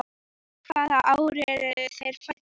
Hvaða ár eru þeir fæddir?